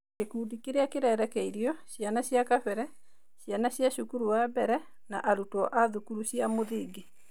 Gĩkundi kĩrĩa kĩrerekeirio: Ciana cia kabere, ciana cia cukuru wa mbere, na arutwo a thukuru cia mũthingi.